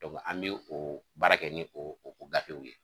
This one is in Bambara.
an bɛ oo baara kɛ ni o o gatew ye